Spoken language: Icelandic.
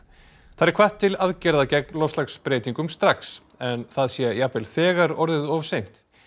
þar er hvatt til aðgerða gegn loftslagsbreytingum strax en það sé jafnvel þegar orðið of seint